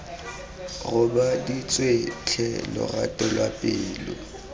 robaditswe tlhe lorato lwa pelo